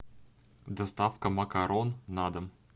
доставка макарон на дом